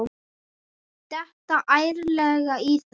Detta ærlega í það.